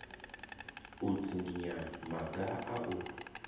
u dzinginya maga a u